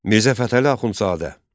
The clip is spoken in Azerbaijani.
Mirzə Fətəli Axundzadə.